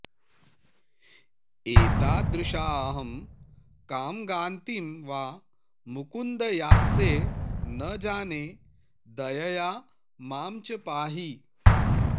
एतादृशाहं कां गातिं वा मुकुन्द यास्ये न जाने दयया मां च पाहि